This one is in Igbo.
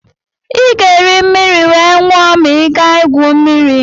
ị ga-eri mmiri wee nwụọ ma ị gaa gwuo mmiri